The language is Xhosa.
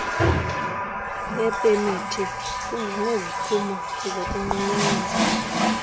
yepemithi kunganeziphumo zokunqunyanyiswa